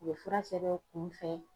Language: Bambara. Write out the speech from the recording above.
U bɛ fura sɛbɛn kunfɛ.